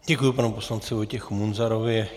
Děkuji panu poslanci Vojtěchu Munzarovi.